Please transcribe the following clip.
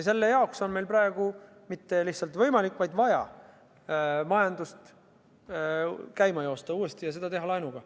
Selle jaoks on meil praegu mitte lihtsalt võimalik, vaid lausa vajalik majandus uuesti käima joosta ja teha seda laenuga.